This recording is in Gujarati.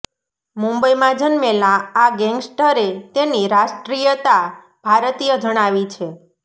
મુંબઇમાં જન્મેલા આ ગેંગ્સ્ટરે તેની રાષ્ટ્રીયતા ભારતીય જણાવી છે